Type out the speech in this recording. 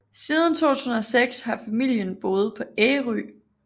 Siden 2006 har familien boet på Ærø